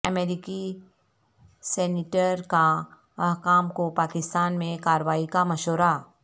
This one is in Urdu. امریکی سینیٹر کا حکام کوپاکستان میں کارروائی کا مشورہ